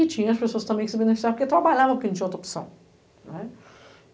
E tinha as pessoas também que se beneficiavam, porque trabalhavam, porque não tinha outra opção.